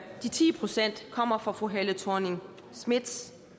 de ti procent kommer fra fru helle thorning schmidts